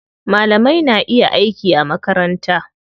Malamai na iya aiki a makaranta.